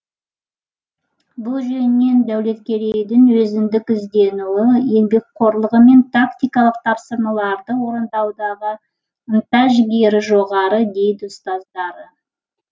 бұл жөнінен дәулеткерейдің өзіндік ізденуі еңбекқорлығы мен тактикалық тапсырмаларды орындаудағы ынта жігері жоғары дейді ұстаздары